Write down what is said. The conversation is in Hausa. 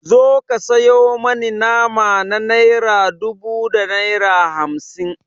Zo ka sayo mani nama na naira dubu da naira hamsin.